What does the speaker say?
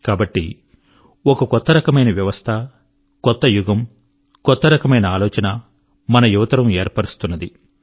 కాబట్టి ఒక కొత్త రకమైన వ్యవస్థ కొత్త యుగము కొత్త రకమైన ఆలోచన మన యువతరం ఏర్పరుస్తున్నది